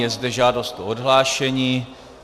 Je zde žádost o odhlášení.